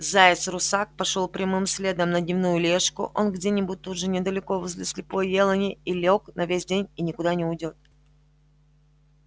заяц-русак пошёл прямым следом на дневную лёжку он где-нибудь тут же недалеко возле слепой елани и лёг на весь день и никуда не уйдёт